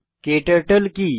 ক্টার্টল কি